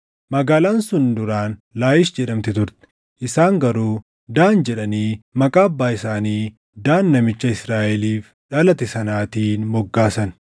Magaalaan sun duraan Laayish jedhamti turte; isaan garuu Daan jedhanii maqaa abbaa isaanii Daan namicha Israaʼeliif dhalate sanaatiin moggaasan.